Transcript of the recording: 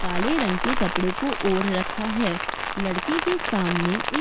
काले रंग के कपड़े को ओढ़ रखा है। लड़की के सामने एक --